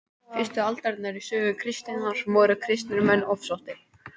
fyrstu aldirnar í sögu kristninnar voru kristnir menn ofsóttir